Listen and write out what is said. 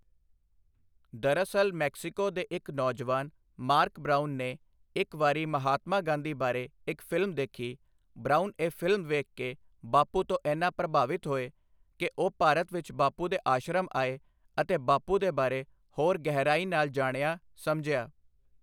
ਦਰਅਸਲ ਮੈਕਸੀਕੋ ਦੇ ਇੱਕ ਨੌਜਵਾਨ ਮਾਰਕ ਬ੍ਰਾਉਨ ਨੇ ਇੱਕ ਵਾਰੀ ਮਹਾਤਮਾ ਗਾਂਧੀ ਬਾਰੇ ਇੱਕ ਫਿਲਮ ਦੇਖੀ, ਬ੍ਰਾਉਨ ਇਹ ਫਿਲਮ ਵੇਖ ਕੇ ਬਾਪੂ ਤੋਂ ਏਨਾ ਪ੍ਰਭਾਵਿਤ ਹੋਏ ਕਿ ਉਹ ਭਾਰਤ ਵਿੱਚ ਬਾਪੂ ਦੇ ਆਸ਼ਰਮ ਆਏ ਅਤੇ ਬਾਪੂ ਦੇ ਬਾਰੇ ਹੋਰ ਗਹਿਰਾਈ ਨਾਲ ਜਾਣਿਆ ਸਮਝਿਆ।